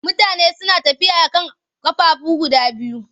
Mutane suna tafiya a kan ƙafafuwa guda biyu.